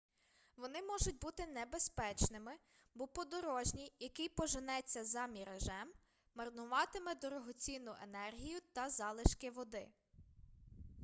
вони можуть бути небезпечними бо подорожній який поженеться за міражем марнуватиме дорогоцінну енергію та залишки води